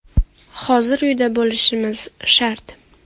Hozir uyda bo‘lishimiz shart.